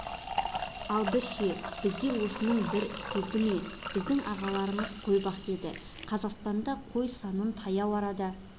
ал біз ше бізде осының бір істелінді ме біздің ағаларымыз қой бақ деді қазақстанда қой санын таяу арада